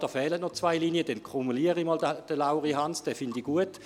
Es fehlen noch zwei Linien, dann kumuliere ich den Lauri Hans, diesen finde ich gut.